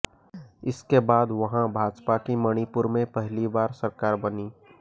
इसके बाद वहां भाजपा की मणिपुर में पहली बार सरकार बनी